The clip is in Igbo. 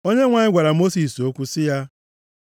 Onyenwe anyị gwara Mosis okwu sị ya,